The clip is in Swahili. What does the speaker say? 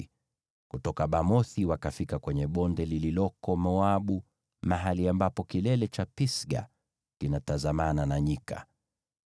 na kutoka Bamothi wakafika kwenye bonde lililoko Moabu, mahali ambapo kilele cha Pisga kinatazamana na nyika.